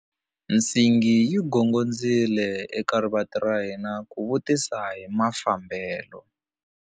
Nsingi yi gongondzile eka rivanti ra hina ku vutisa hi mafambelo.